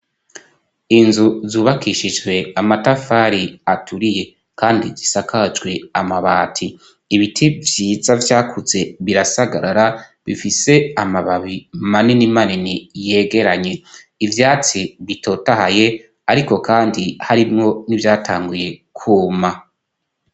Inzu zubakishijwe amatafari aturiye, kandi zisakajwe amabati ibiti vyiza vyakuze birasagarara bifise amababi maninimanini yegeranye ivyatsi bitotahaye, ariko, kandi harimwo nivyatanguye kwuma.